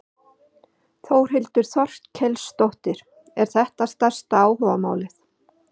Þórhildur Þorkelsdóttir: Er þetta stærsta áhugamálið?